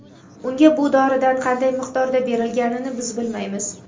Unga bu doridan qanday miqdorda berilganini biz bilmaymiz.